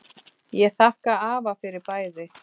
Ég þakka afa fyrir bæði.